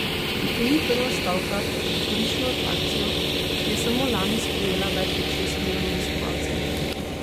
To ni prva stavka za turistično atrakcijo, ki je samo lani sprejela več kot šest milijonov obiskovalcev.